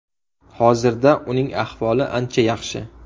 Hozirda uning ahvoli ancha yaxshi.